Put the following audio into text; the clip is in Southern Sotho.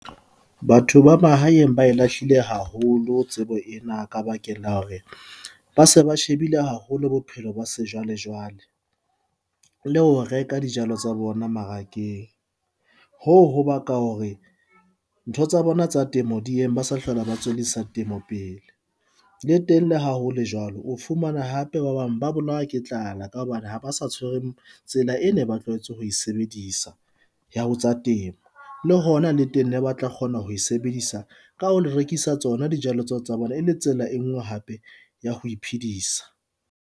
Batho ba mahaeng ba e lahlile haholo tsebo ena ka bakeng la hore ba se ba shebile haholo bophelo ba sejwale jwale. Le ho reka dijalo tsa bona marakeng hoo ho ba ka hore ntho tsa bona tsa temo di , ba sa hlola ba tswellisa temo pele le teng le ha ho le jwalo, o fumana hape ba bang ba bolawa ke tlala ka hobane ha ba sa tshwereng tsela ena e ba tlwahetse ho sebedisa ya ho tsa temo. Le hona le teng ne ba tla kgona ho e sebedisa ka ho le rekisa tsona dijalo tseo tsa bona e le tsela e nngwe hape ya ho iphedisa.